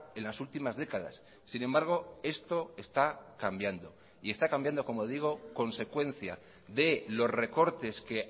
en las últimas décadas sin embargo esto está cambiando y está cambiando como digo consecuencia de los recortes que